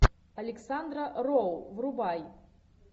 александра роу врубай